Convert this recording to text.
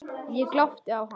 Ég glápti á hana.